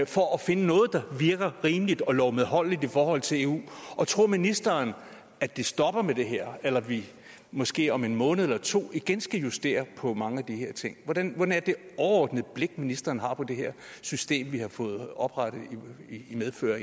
for at finde noget der virker rimeligt og lovmedholdeligt i forhold til eu og tror ministeren at det stopper med det her eller at vi måske om en måned eller to igen skal justere på mange af de her ting hvordan er det overordnede blik ministeren har på det her system vi har fået oprettet i medfør